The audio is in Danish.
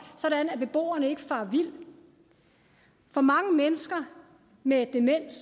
så beboerne ikke farer vild for mange mennesker med demens